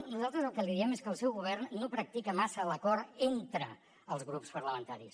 nosaltres el que diem és que el seu govern no practica massa l’acord entre els grups parlamentaris